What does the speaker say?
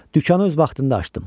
Dükanı öz vaxtında açdım.